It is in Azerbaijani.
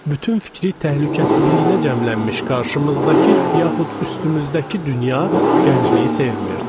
Bütün fikri təhlükəsizliyinə cəmlənmiş qarşımızdakı yaxud üstümüzdəki dünya gəncliyi sevmir.